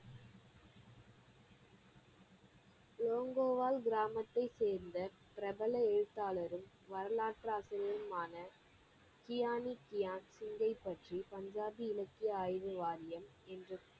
லோங்கோவால் கிராமத்தை சேர்ந்த பிரபல எழுதாளரும் வரலாற்று ஆசிரியரும் ஆனா கியானி கியான் சிங்கை பற்றி பஞ்சாபி இலக்கிய ஆய்வு வாரியம் என்ற